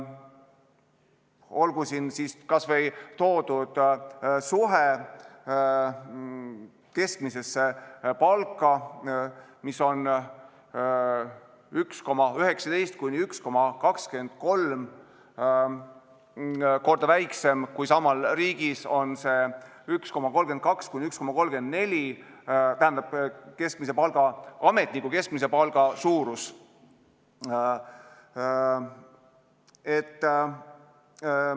Olgu siin kas või toodud suhe keskmisesse palka, mis on 1,19–1,23 ehk väiksem kui riigiametnikul keskmiselt: riigiametniku keskmise palga puhul on see suhe 1,32–1,34.